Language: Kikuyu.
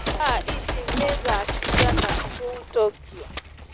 Thaa ĩcĩ nĩ thaa cĩĩgana kũũ tokyo